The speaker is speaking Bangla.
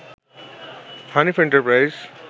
হানিফ এন্টারপ্রাইজ